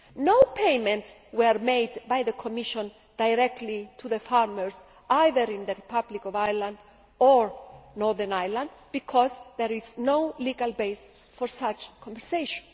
No payments were made by the Commission directly to farmers either in the Republic of Ireland or Northern Ireland, because there is no legal base for such compensation.